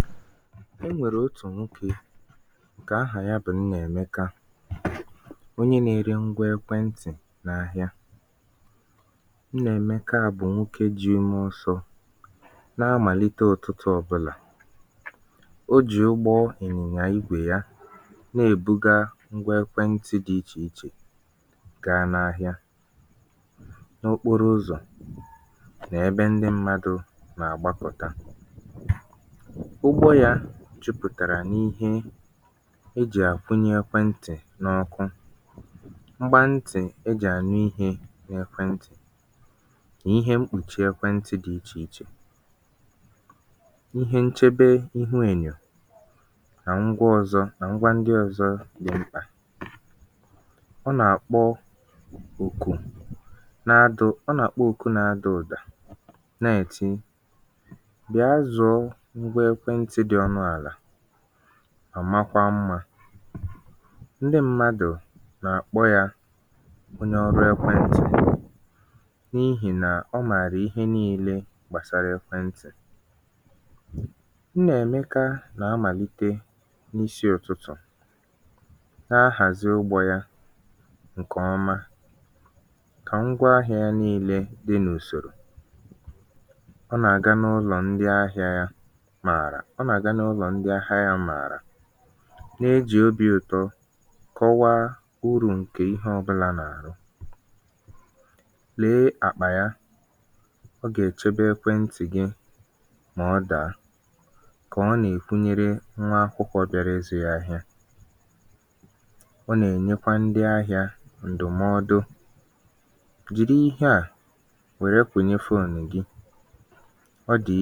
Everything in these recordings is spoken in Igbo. n’ehìhìè otù ụbọ̀chị̀ n’òbòdò Ọkā anyanwụ̄ nà-ènwu gbàà ǹkè ọma n’eluigwē na-ème kà ihe niīlē na-àchapụ̄ àchapụ̀ n’akụ̀kụ̀ ụzọ̀ isi ahị̄ā Èmeka gùzòchàrà n’akụ̀kụ̀ ihe ǹkwà ibū ya ǹkè o jì àgba ọsọ̄ na-ère ngwa ihe gbāsatara ekwentị̀ ǹkwà ibū ahụ̀ jupụ̀tàrà n’ụ̀dị ihe niīlē ejì ème ngwa ntị̀ ǹke gụ̄nyere nkwùchi ekwentị̀ eriri ekwentị̀ nà ọ̀tụtụ ngwa mgbàkwunye ndị ọ̄zọ̄ Èmeka kwụ̀rụ̀ ònwe yā n’ebeà ǹkè ọ kpọ̀rọ̀ ụlọ̀ ahị̄ā m dị n’ọkụ ebe ọ na-èji ọnụ̄ ya nà ǹkà ya, nà nka yā àkpọta ndị m̄madụ̀ kà ha hụ ihe ndị o nwègàsị̀rị̀ otū m̀gbè otù nwaànyị̀ ǹkè ahà ya bụ̀ Ǹkèchi bị̀àrà ǹso Ǹkèchi kwụ̀sị̀rị̀ n’àzụ ǹkwà ibū ahụ̀ nyòchaa ihe dị̄ ichè ichè ǹkè Èmeka nwèrè mà na-èkwe Èmeka bikō gwam̄ bànyere ngwa ọkụ ekwentị̄ à ekwentị̀ m anāghị ejìkọta ǹkè ọma Èmeka tìrì mkpu nwayọ̀ mà wère obì ọma chọọ kà Ǹkèchi mara Ǹkèchi, lèe ǹkeà ǹkeà bụ̀ ngwa ọkụ̄ ǹke na-arụ ọrụ̄ ǹkè ọma ọ nà-ème kà ekwentị̀ gị nwee ọkụ̄ na-enwēghi nsògbu mà ọ bụrụ nà i nà-ejī ya ruo ogologo ogè o mèkwàrà kà Ǹkèchi hụ nkọwa ǹkè ihe ahụ̀ mà kọwaa urù ya niīlē na-ègosìpụ̀ta ètù o sì dị ikē nà idītè aka yā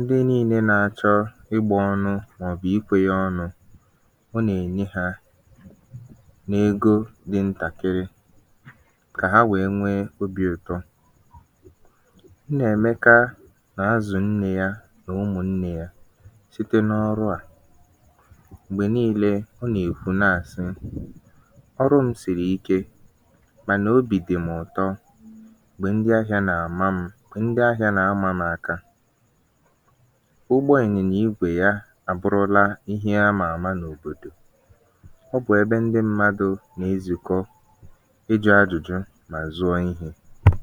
Ǹkèchi lebàrà anya wère ntàkịrị obī ụtọ tọrọ ya wère sị ọ dị̀ mmā, Èmeka i gà-ènye mụ̄ ǹkeà ego ōlē kà ọ bù̇ Èmeka wetùrù onu àlà wère kwuo ọnụ ọ̄gụgụ ego ǹke nā-egosìpụ̀ta ịzụ̄ ọnụ ahị̄ā ǹke mērē kà Ǹkèchi nwee obī ụtọ n’ihì nà ọ bụ̀ ọnụ ahị̄ā kwesiri èkwesi ọ gbāpụ̀rụ̀ akwụkwọ egō mà kwụọ ụgwọ̄ ya na-enwēghi mgbagha